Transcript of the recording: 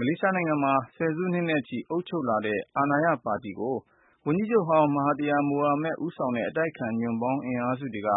မလေးရှားနိုင်ငံမှာ ဆယ်စုနှစ်နဲ့ချီ အုပ်ချုပ်လာတဲ့ အာဏာရပါတီကို ဝန်ကြီးချုပ်ဟောင်း မဟာသီယာ မိုဟာမက် ဦးဆောင်တဲ့ အတိုက်အခံ ညွန့်ပေါင်း အင်အားစုတွေက